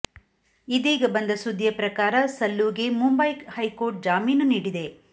ಇದೀಗ ಬಂದ ಸುದ್ದಿಯ ಪ್ರಕಾರ ಸಲ್ಲುಗೆ ಮುಂಬೈ ಹೈಕೋರ್ಟ್ ಜಾಮೀನು ನೀಡಿದೆ